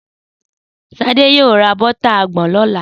Sadé yoo ra bótà àgbon lọ́la.